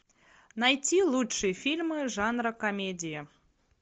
найти лучшие фильмы жанра комедия